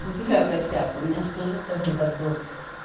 у тебя косяк у меня же тоже скажем так был